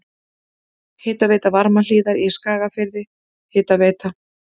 Hitaveita Varmahlíðar í Skagafirði, Hitaveita